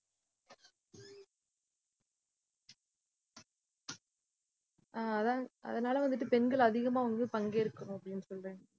அஹ் அதான், அதனால வந்துட்டு பெண்கள் அதிகமா வந்து பங்கேற்கணும் அப்படின்னு சொல்ற~